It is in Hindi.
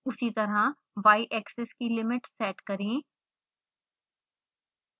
उसी तरह yaxis की लिमिट सेट करें